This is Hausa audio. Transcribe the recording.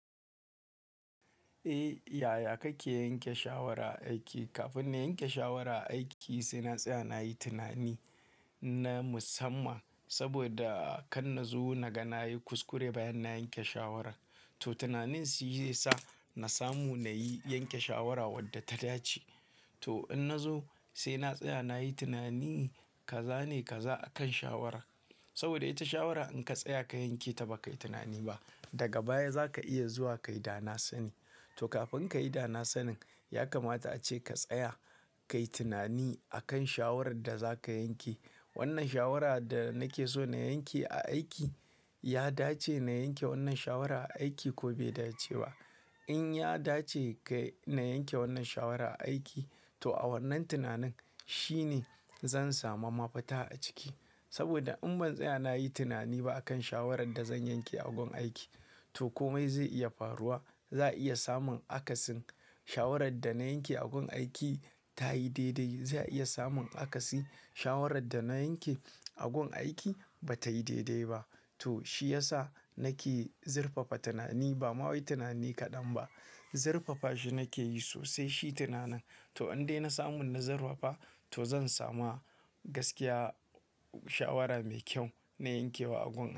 Eh, yaya kake yanke shawara aiki? Kafin na yanke shawara a aiki sai na tsaya na yi tunani na musamman. Saboda kan na zo na ga na yi kuskure bayan na yanke shawara. To tunanin shi zai sa na samu na yi yanke shawara wadda ta dace. To in na zo sai na tsaya na yi tunani, ka zane ka za a kan shawara. Saboda ita shawara in ka tsaya ka yanke ta baka yi tunani ba, daga baya zaka iya zuwa ka yi dana sani. To kafin ka yi dana sanin, ya kamata ace ka tsaya ka yi tunani akan shawarar da za ka yanke. Wannan shawarar da nake so na yanke a aiki, ya dace na yanke wannan shawarar a aiki ko bai dace ba? In ya dace ka-- na yanke wannan shawarar a aiki, to a wannan tunanin shine zan samu mafita a ciki. Saboda in ban tsaya na yi tunani ba akan shawarar da zan yanke a gun aiki, to komai zai iya faruwa. Za a iya samun akasin shawarar da na yanke a gun aiki ta yi daidai. Za a iya samun akasin shawarar da na yanke a gun aiki ba ta yi daidai ba. To shi ya sa nake zirfafa tunani. Ba ma wai tunani kaɗan ba, zirfafa shi nake yi sosai shi tunanin. To in dai na samu na zirfafa, to zan samu gaskiya shawara mai kyau na yankewa a gun.